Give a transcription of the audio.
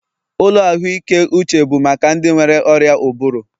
Ụlọ ahụike uche bụ maka ndị nwere ọrịa ụbụrụ